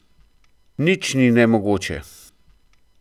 Nič ni nemogoče!